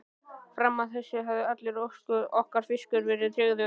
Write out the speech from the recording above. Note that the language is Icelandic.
Fram að þessu hafði allur okkar fiskur verið tryggður.